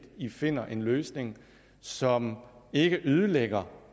at de finder en løsning som ikke ødelægger